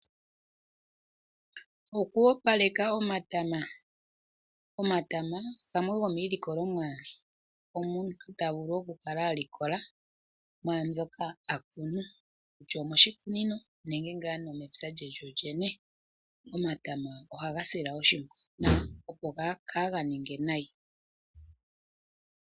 Oku opaleka omatama Omatama gamwe gomiilikolomwa moka omuntu ta vulu okukala a likola mwaa mbyoka a kunu; kutya omoshikuninonenge pamwe omepya lye lyolyene. Omatama ohaga silwa oshimpwiyu, opo kaaga ninge nayi.